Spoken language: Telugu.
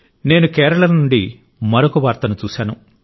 నేను కేరళ నుండి మరొక వార్తను చూశాను